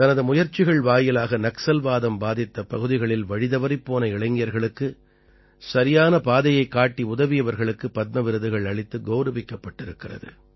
தனது முயற்சிகள் வாயிலாக நக்சல்வாதம் பாதித்த பகுதிகளில் வழிதவறிப் போன இளைஞர்களுக்கு சரியான பாதையைக் காட்டியுதவியவர்களுக்கு பத்ம விருதுகள் அளித்து கௌரவிக்கப்பட்டிருக்கிறது